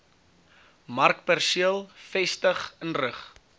markperseel vestig inrig